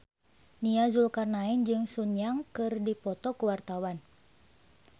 Nia Zulkarnaen jeung Sun Yang keur dipoto ku wartawan